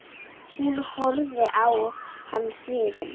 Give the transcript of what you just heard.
Hún horfði á hann hrifin.